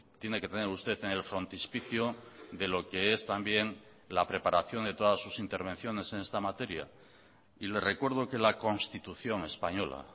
tiene que tener usted en el frontispicio de lo que es también la preparación de todas sus intervenciones en esta materia y le recuerdo que la constitución española